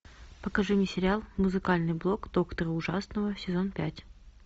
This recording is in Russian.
покажи мне сериал музыкальный блог доктора ужасного сезон пять